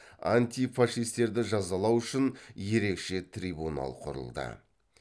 антифашистерді жазалау үшін ерекше трибунал құрылды